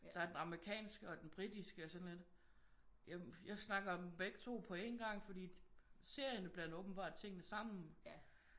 Der er den amerikanske og den britiske og jeg er sådan lidt ja men jeg snakker dem begge 2 på engang fordi det serierne blander åbenbart tingene sammen